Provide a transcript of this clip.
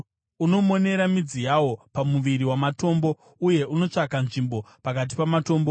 unomonera midzi yawo pamurwi wamatombo, uye unotsvaka nzvimbo pakati pamatombo.